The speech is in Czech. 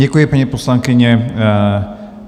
Děkuji, paní poslankyně.